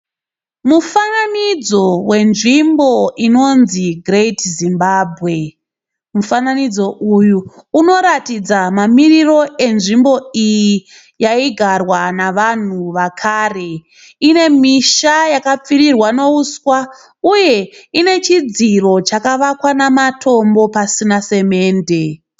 Mufananidzo wenzvimbo inonzi Great Zimbabwe. Mufananidzo uyu unoratidza mamiriro enzvimbo iyi yaigarwa navanhu vakare. Ine misha yakapfirirwa nehuswa uye ine chidziro chakavakwa namatombo pasina semende.